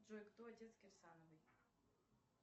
джой кто отец кирсановой